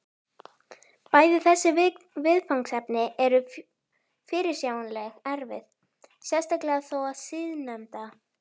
Bæði þessi viðfangsefni eru fyrirsjáanlega erfið, sérstaklega þó það síðarnefnda.